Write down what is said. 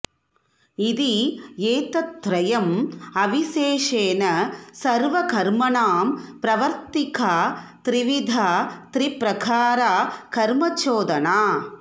इति एतत् त्रयं अविशेषेण सर्वकर्मणां प्रवर्तिका त्रिविधा त्रिप्रकारा कर्मचोदना